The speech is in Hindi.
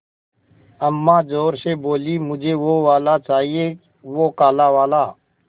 अम्मा ज़ोर से बोलीं मुझे वो वाला चाहिए वो काला वाला